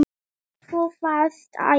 Þú varst æði.